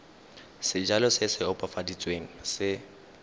sejalo se se opafaditsweng se